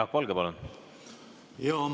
Jaak Valge, palun!